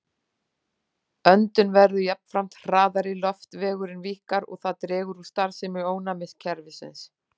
Öndun verður jafnframt hraðari, loftvegurinn víkkar og það dregur úr starfsemi ónæmiskerfisins.